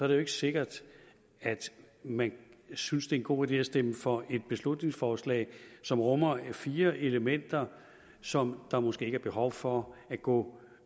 det jo ikke sikkert at man synes det er en god idé at stemme for et beslutningsforslag som rummer fire elementer som der måske ikke er behov for at gå